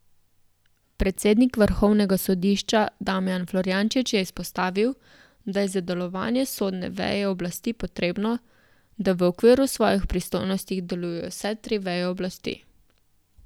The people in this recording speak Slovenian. Predsednik vrhovnega sodišča Damijan Florjančič je izpostavil, da je za delovanje sodne veje oblasti potrebno, da v okviru svojih pristojnosti delujejo vse tri veje oblasti.